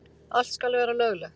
Allt skal vera löglegt.